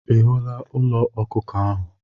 Ị hụla ụlọ ọkụkọ ahụ?